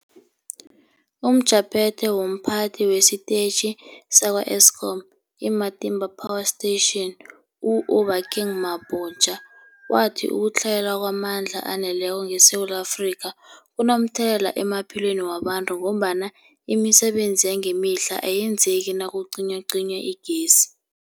UmJaphethe womPhathi wesiTetjhi sakwa-Eskom i-Matimba Power Station u-Obakeng Mabotja wathi ukutlhayela kwamandla aneleko ngeSewula Afrika kunomthelela emaphilweni wabantu ngombana imisebenzi yangemihla ayenzeki nakucinywacinywa igezi.